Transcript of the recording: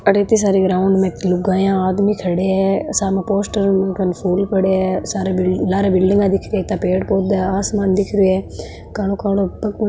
इत्ती सारी ग्राउंड में लुगाईया आदमी खड़े है सामने पोस्टर और फूल पड़े है सारे लारे बिल्डिंग दिख रही है इत्ता पेड़ पौधा आसमान दिख रह्यो है कालो कालो --